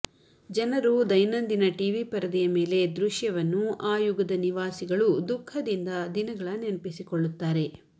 ಜನರು ದೈನಂದಿನ ಟಿವಿ ಪರದೆಯ ಮೇಲೆ ದೃಶ್ಯವನ್ನು ಆ ಯುಗದ ನಿವಾಸಿಗಳು ದುಃಖದಿಂದ ದಿನಗಳ ನೆನಪಿಸಿಕೊಳ್ಳುತ್ತಾರೆ